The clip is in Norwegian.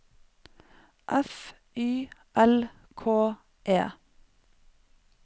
F Y L K E